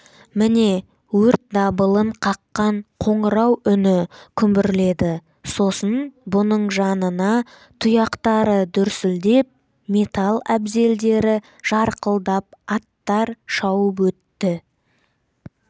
міне өрт дабылын қаққан қоңырау үні күмбірледі сосын бұның жанына тұяқтары дүрсілдеп металл әбзелдері жарқылдап аттар шауып өтті